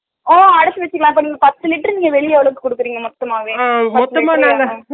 ஓ அடச்சு வெச்சிரலாம் அப்பா நீங்க பத்து லிட்டர் நீங்க வெளில ஒடச்சு குடுக்குறிங்க மொத்தமாவே